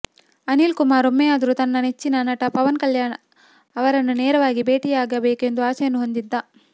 ಅನಿಲ್ ಕುಮಾರ್ ಒಮ್ಮೆಯಾದರೂ ತನ್ನ ನೆಚ್ಚಿನ ನಟ ಪವನ್ ಕಲ್ಯಾಣ್ ಅವರನ್ನು ನೇರವಾಗಿ ಭೇಟಿ ಆಗಬೇಕೆಂದು ಆಸೆಯನ್ನು ಹೊಂದಿದ್ದ